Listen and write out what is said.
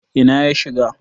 Ina ya shiga?